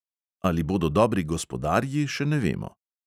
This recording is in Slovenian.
Ali bodo dobri gospodarji, še ne vemo.